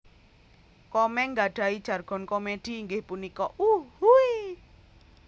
Komeng nggadhahi jargon komedi inggih punika Uhuiiii